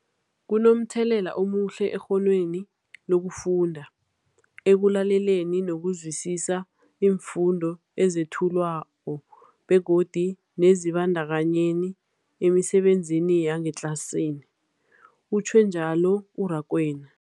Kunomthelela omuhle ekghonweni lokufunda, ekulaleleni nokuzwisiswa iimfundo ezethulwako begodu nekuzibandakanyeni emisebenzini yangetlasini, utjhwe njalo u-Rakwena.